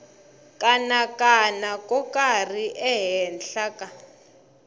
kanakana ko karhi ehenhla ka